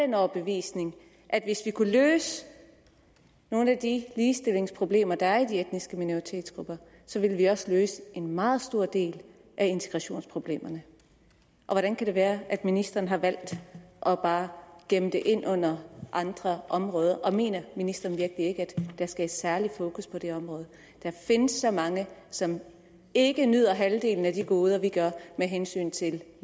den overbevisning at hvis vi kunne løse nogle af de ligestillingsproblemer der er i de etniske minoritetsgrupper så ville vi også løse en meget stor del af integrationsproblemerne hvordan kan det være at ministeren har valgt bare at gemme det ind under andre områder og mener ministeren virkelig ikke at der skal et særligt fokus på det område der findes så mange som ikke nyder halvdelen af de goder vi gør med hensyn til